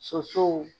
Sosow